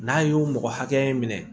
N'a y'o mɔgɔ hakɛ minɛ